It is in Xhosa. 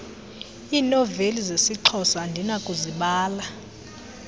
iinoveli zesixhosa andinakuzibala